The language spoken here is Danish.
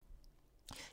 DR2